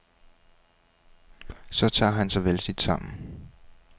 Så tager han sig vældigt sammen.